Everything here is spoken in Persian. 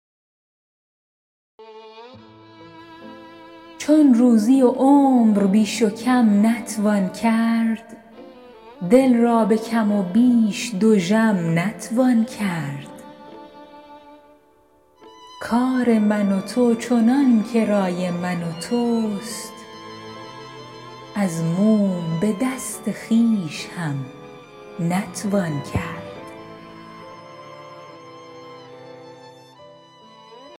چون روزی و عمر بیش و کم نتوان کرد دل را به کم و بیش دژم نتوان کرد کار من و تو چنان که رای من و توست از موم به دست خویش هم نتوان کرد